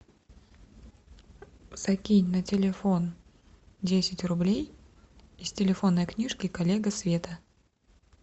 закинь на телефон десять рублей из телефонной книжки коллега света